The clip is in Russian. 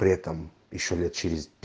при этом ещё лет через